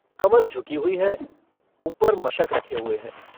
कमर झुकी हुई है ऊपर मशक रखे हुए है।